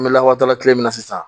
N bɛ lawada kile min na sisan